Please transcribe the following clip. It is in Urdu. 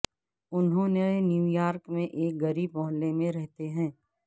انہوں نے نیویارک میں ایک غریب محلے میں رہتے ہیں